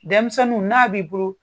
Denmisɛnu n'a b'i bolo